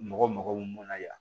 Mɔgɔ mago bɛ mun na yan